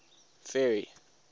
ferry